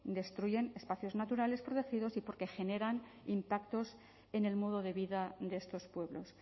destruyen espacios naturales protegidos y porque generan impactos en el modo de vida de estos pueblos